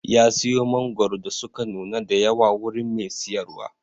ya siyo mangoro da suka nuna da yawa daga wurin Mai siyarwa.